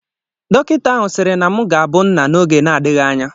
Dọkịta ahụ sịrị na m ga-abụ nna n'oge na-adịghị ányá